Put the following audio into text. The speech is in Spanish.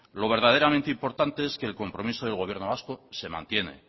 lo verdaderamente importante es que el compromiso del gobierno vasco se mantiene